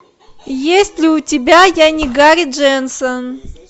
есть ли у тебя я не гарри дженсон